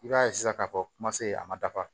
I b'a ye sisan k'a fɔ kuma se a ma dafa